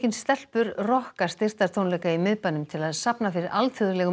stelpur rokka styrktartónleika í miðbænum til að safna fyrir alþjóðlegum